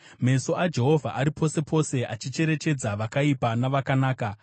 Meso aJehovha ari pose pose, achicherechedza vakaipa navakanaka.